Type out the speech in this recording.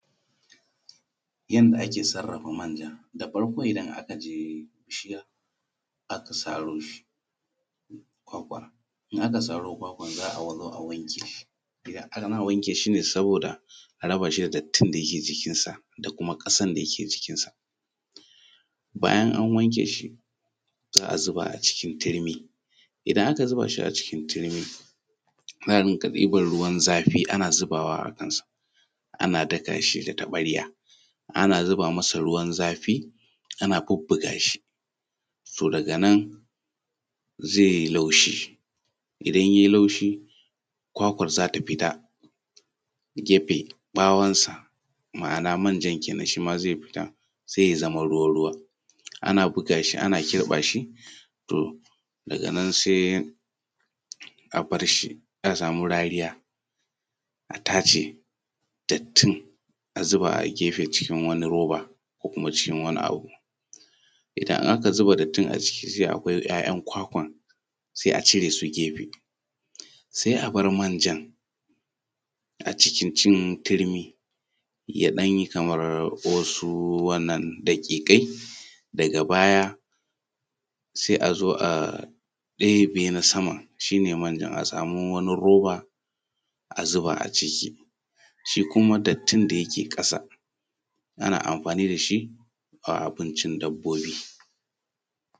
Yadda ake sarrafa manja. Da farko idan aka je saro shi kwakwa, idan aka saro kwakwan za a zo a wanke shi, ana wake shi ne saboda a raba shi da dattin da yake jikinsa da kuma ƙasan da ke jikinsa. Bayan an wanke shi a zuba cikin tirmi, in aka zuba shi a cikin tirmi za a yi ta ɗiban ruwan zafi ana zubawa ana daka shi da taɓarya. In ana zuba masa ruwan zafi ana bubbuga shi, daga nan zai yi laushi, idan yayi laushi kwakwan za ta fita fita gefe ɓawon sa ma'ana manjan kenan shima zai fita sai ya zamo ruwa ruwa. Ana buga shi ana kirɓa shi, daga nan sai a bar shi a samu rariya a tace dattin a zuba a gefe cikin wani roba ko kuma cikin wani abu. Idan aka zuba dattin a ciki zai yu akwai ‘ya’yan kwakwan, sai a cire su gefe, sai a bar manjan a cikin tirmi ya ɗan yi kamar wasu daƙiƙai, daga baya sai a zo a ɗebe na saman shi ne manjan a samu wani roba a zuba a ciki. Shi kuma dattin da yake ƙasa ana amfani da shi a abincin dabbobi